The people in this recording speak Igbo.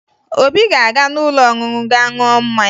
Obi ga-aga n'ụlọ ọṅụṅụ gaa ṅụọ mmanya